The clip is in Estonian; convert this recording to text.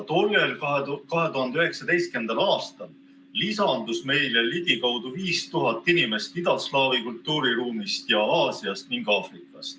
Tollel 2019. aastal lisandus meile ligikaudu 5000 inimest idaslaavi kultuuriruumist ja Aasiast ning Aafrikast.